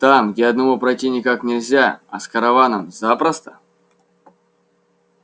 там где одному пройти никак нельзя а с караваном запросто